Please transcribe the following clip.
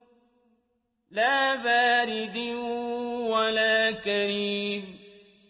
لَّا بَارِدٍ وَلَا كَرِيمٍ